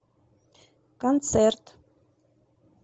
концерт